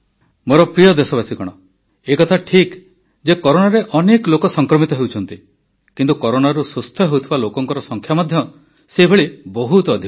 ମୋର ପ୍ରିୟ ଦେଶବାସୀଗଣ ଏହା ଠିକ୍ ଯେ କରୋନାରେ ବହୁତ ଲୋକ ସଂକ୍ରମିତ ହେଉଛନ୍ତି କିନ୍ତୁ କରୋନାରୁ ସୁସ୍ଥ ହେଉଥିବା ଲୋକଙ୍କ ସଂଖ୍ୟା ମଧ୍ୟ ସେହିପରି ବହୁତ ଅଧିକ